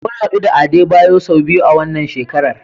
Mun hadu da Adebayo sau biyu a wannan shekarar.